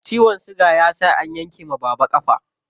Ciwon siga ya sa an yanke wa baba ƙafa.